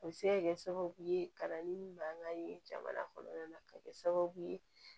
A bɛ se ka kɛ sababu ye kalanden min b'an ka ye jamana kɔnɔna na a bɛ kɛ sababu ye